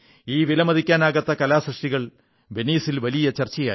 ഈ വിലമതിക്കാനാകാത്ത കലാസൃഷ്ടികൾ വെനീസിൽ വലിയ ചർച്ചയായി